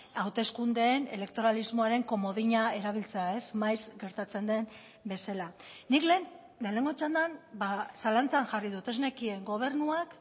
hauteskundeen elektoralismoaren komodina erabiltzea ez maiz gertatzen den bezala nik lehen lehenengo txandan zalantzan jarri dut ez nekien gobernuak